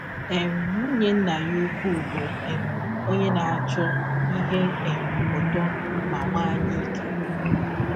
um Nwụnye nna ya ụkwụ bụ um ọnye na - achọ ihe um ụtọ ma nwee anyaike.